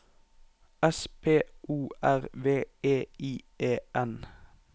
S P O R V E I E N